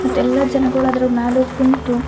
ಮತ್ ಎಲ್ಲ ಜನಗುಳು ಅದ್ರ್ ಮ್ಯಾಲ್ ಹೋಗ್ ಕುಂತು --